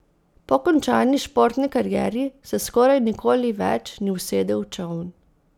Po končani športni karieri se skoraj nikoli več ni usedel v čoln.